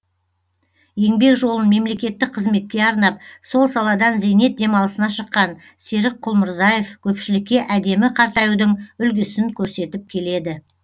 еңбек жолын мемлекеттік қызметке арнап сол саладан зейнет демалысына шыққан серік құлмырзаев көпшілікке әдемі қартаюдың үлгісін көрсетіп келеді